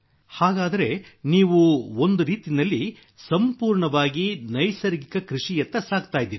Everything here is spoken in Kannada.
ಹಾಗಾದರೆ ನೀವು ಒಂದು ರೀತಿಯಲ್ಲಿ ಸಂಪೂರ್ಣವಾಗಿ ನೈಸರ್ಗಿಕ ಕೃಷಿಯತ್ತ ಸಾಗುತ್ತಿದ್ದೀರಿ